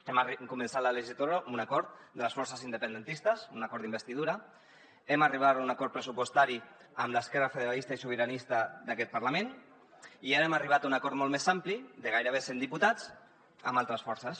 hem començat la legislatura amb un acord de les forces independentistes un acord d’investidura hem arribat a un acord pressupostari amb l’esquerra federalista i sobiranista d’aquest parlament i ara hem arribat a un acord molt més ampli de gairebé cent diputats amb altres forces